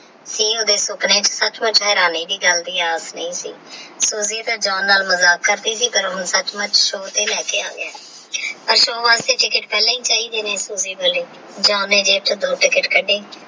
ਇਹ ਉਹਦੇ ਸੁਪਨੇ ਸੱਚਮੁੱਚ ਹੈਰਾਨੀ ਦੀ ਗੱਲ ਦੀ ਆਸ ਨਹੀਂ ਸੀ Soji ਦੇ John ਨਾਲ ਮਜਾਕ ਕਰਦੀ ਸੀ ਪਰ ਉਹਨੂੰ ਸੱਚਮੁੱਚ ਸ਼ੋ ਤੇ ਲੈਕੇ ਆ ਗਿਆ ਅੱਜ ਸੋਮਵਾਰ ਦੀ John ਪਹਿਲਾ ਹੀ ਚਾਹੀਦੀ ਹੈ Soji ਬੋਲੇ John ਨੇ ਜੇਬ ਵਿੱਚੋ ਦੋ Ticket ਕਢੀ।